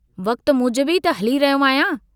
वक्त मूजिबि ई त हली रहियो आहियां।